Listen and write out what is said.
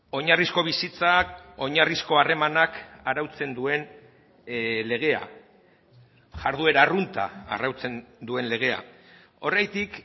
oinarrizko bizitzak oinarrizko harremanak arautzen duen legea jarduera arrunta arautzen duen legea horregatik